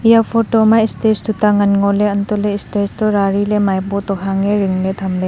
eya photo ma stage tuta ngan ngoley untohley stage toh rariley maipo to hange ringley thamley.